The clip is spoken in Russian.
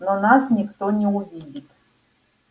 но нас никто не увидит